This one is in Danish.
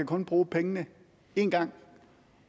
kan bruge pengene én gang